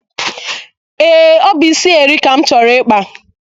Ee, ọ bụ isi eri ka m chọrọ ịkpa.